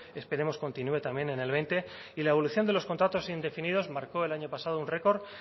esperemos continúe también en el veinte y la evolución de los contratos indefinidos marcó el año pasado un récord